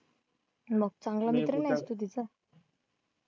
मग चांगला मित्र नाहीस तू तिचा?